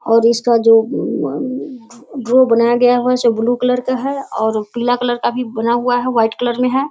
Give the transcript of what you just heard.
और इसका जो गया हैं उसे ब्लू कलर का है और पीला कलर का भी बना हुआ है वाइट कलर में है।